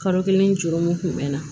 Kalo kelen dɔrɔn kun mɛ na